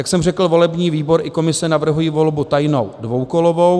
Jak jsem řekl, volební výbor i komise navrhují volbu tajnou dvoukolovou.